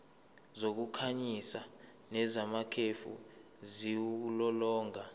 zokukhanyisa nezamakhefu ziwulolonga